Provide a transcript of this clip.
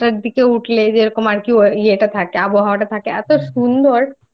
হাওয়া দেয় সারাটা রাতও মানে আমাদের এখানে কলকাতায় যে রকম একটা গরম থাকে সবসময়